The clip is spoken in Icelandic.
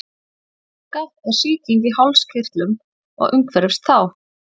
hálsbólga er sýking í hálskirtlum og umhverfis þá